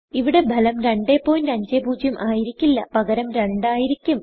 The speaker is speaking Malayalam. ഇവിടെ ഭലം 250 ആയിരിക്കില്ല പകരം 200 ആയിരിക്കും